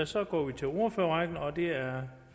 så går vi til ordførerrækken og det er